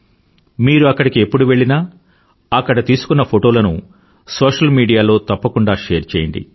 మీరు అక్కడికి ఎప్పుడు వెళ్ళినా అక్కడ తీసుకున్న ఫోటోలను సోషల్ మీడియాలో తప్పకుండా షేర్ చేయండి